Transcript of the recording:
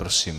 Prosím.